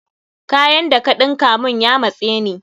Kayan da ka ɗinka mun ya matse ni.